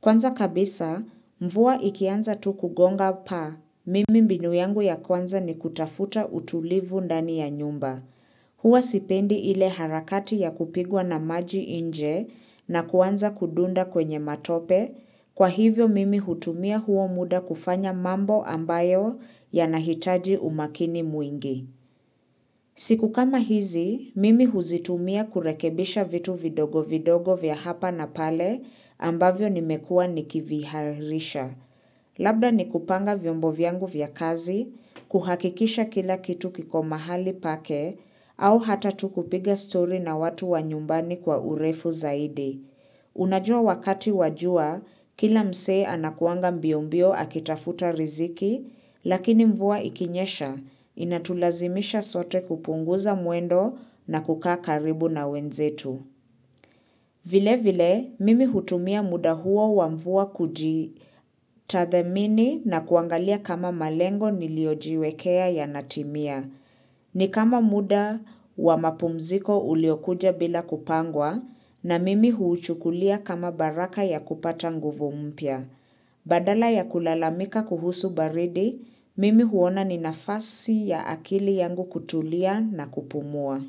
Kwanza kabisa, mvua ikianza tu kugonga pa, mimi mbinu yangu ya kwanza ni kutafuta utulivu ndani ya nyumba. Huwa sipendi ile harakati ya kupigwa na maji inje na kuanza kudunda kwenye matope, kwa hivyo mimi hutumia huo muda kufanya mambo ambayo yanahitaji umakini mwingi. Siku kama hizi, mimi huzitumia kurekebisha vitu vidogo vidogo vya hapa na pale ambavyo nimekuwa nikivihairisha. Labda ni kupanga vyombo vyangu vya kazi, kuhakikisha kila kitu kiko mahali pake, au hata tu kupiga story na watu wa nyumbani kwa urefu zaidi. Unajua wakati wa jua, kila msee anakuanga mbiombio akitafuta riziki, lakini mvua ikinyesha, inatulazimisha sote kupunguza mwendo na kukaa karibu na wenzetu. Vile vile, mimi hutumia muda huo wa mvua kujitathmini na kuangalia kama malengo niliojiwekea yanatimia. Ni kama muda wa mapumziko uliokuja bila kupangwa na mimi huuchukulia kama baraka ya kupata nguvu mpya. Badala ya kulalamika kuhusu baridi, mimi huona ni nafasi ya akili yangu kutulia na kupumua.